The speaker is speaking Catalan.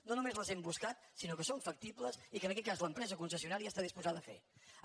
no només les hem buscat sinó que són factibles i en aquest cas l’empresa concessio·nària està disposada a fer·les